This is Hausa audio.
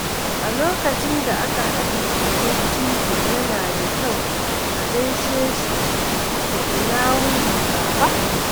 Lokacin da aka haɗu da dattijo, yana da kyau a gaishe shi da “Ina wuni Baba?”